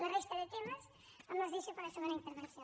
la resta de temes me’ls deixo per a la segona intervenció